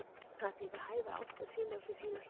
Það er því við hæfi að Ásta sýni á sér hina hliðina.